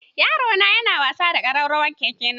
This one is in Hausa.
Yarona yana wasa da ƙararrawan keke na.